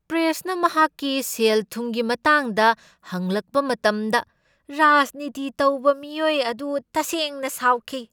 ꯄ꯭ꯔꯦꯁꯅ ꯃꯍꯥꯛꯀꯤ ꯁꯦꯜ ꯊꯨꯝꯒꯤ ꯃꯇꯥꯡꯗ ꯍꯪꯂꯛꯄ ꯃꯇꯝꯗ ꯔꯥꯖꯅꯤꯇꯤ ꯇꯧꯕ ꯃꯤꯑꯣꯏ ꯑꯗꯨ ꯇꯁꯦꯡꯅ ꯁꯥꯎꯈꯤ ꯫